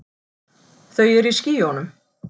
Þau eru í skýjunum.